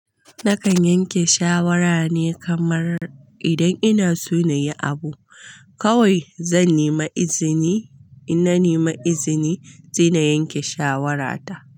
Nakan yanke shawara ne kamar idan ina so na yi abu, kawai zan nemi izini. In na nemi izini, zan yanke shawarata.